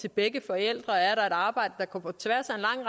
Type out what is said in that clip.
til begge forældre er arbejde der går på tværs